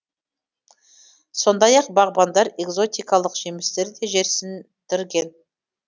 сондай ақ бағбандар экзотикалық жемістерді де жерсіндірген